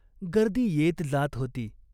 गर्दी येत जात होती.